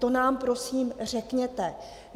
To nám prosím řekněte.